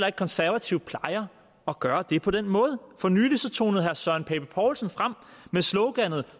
at konservative plejer at gøre det på den måde for nylig tonede herre søren pape poulsen frem med sloganet